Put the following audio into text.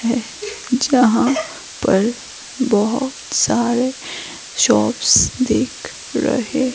जहां पर बहुत सारे शॉप्स दिख रहे--